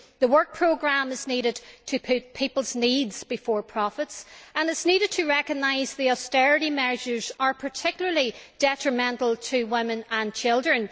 The work programme needs to put people's needs before profits, and it needs to recognise that the austerity measures are particularly detrimental to women and children.